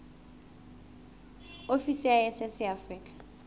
ofisi ya iss ya afrika